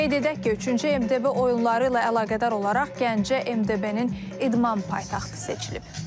Qeyd edək ki, üçüncü MDB oyunları ilə əlaqədar olaraq Gəncə MDB-nin idman paytaxtı seçilib.